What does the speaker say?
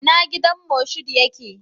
Ina gidan Moshood yake?